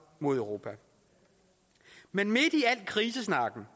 mod europa men midt i al krisesnakken